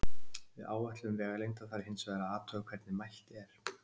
Við áætlun vegalengda þarf hins vegar að athuga hvernig mælt er.